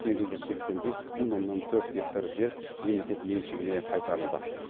сегіз жүз сексен бес бүтін оннан төрт гектар жер мемлекет меншігіне қайтарылды